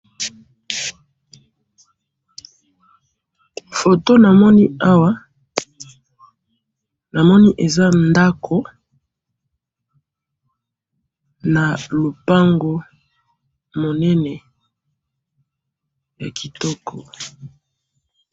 Photo namoni awa, namoni eza ndako na lopango monene ya kitoko